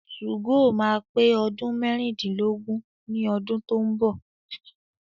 2go máa pé ọdún mẹ́rìndínlógún ní ọdún tó ń bọ̀.